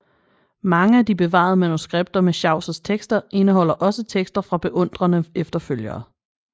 Mange af de bevarede manuskripter med Chaucers tekster indeholder også tekster fra beundrende efterfølgere